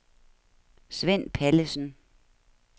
Svend Pallesen